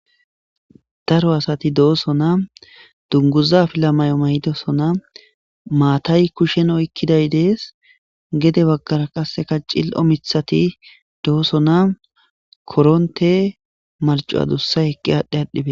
Daro asati dooso na dunguza filamay'o may'dosona maatay kushshen oykkiday dees gede baggara qasseka cil'o mithati dooso na koronte marco adussa eqqi aadhdhe adhdhibe.